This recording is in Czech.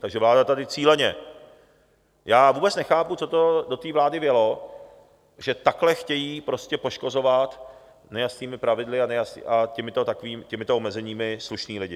Takže vláda tady cíleně... já vůbec nechápu, co to do té vlády vjelo, že takhle chtějí prostě poškozovat, nejasnými pravidly a těmito omezeními, slušné lidi.